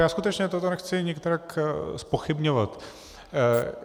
Já skutečně toto nechci nikterak zpochybňovat.